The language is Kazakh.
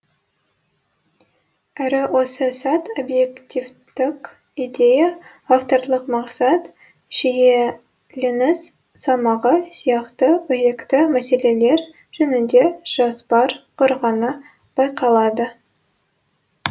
әрі осы сәт объективтік идея авторлық мақсат шиеленіс салмағы сияқты өзекті мәселелер жөнінде жоспар құрғаны байқалады